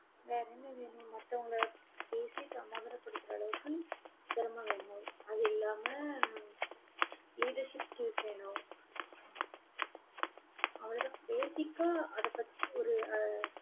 வேற என்ன வேணும்? மத்தவங்களை பேசி, சமாதானப்படுத்துற அளவுக்கு, திறமை வேணும். அது இல்லாம, அஹ் leadership skills வேணும் அவ்வளவுதான். basic ஆ அதைப் பத்தி ஒரு அஹ்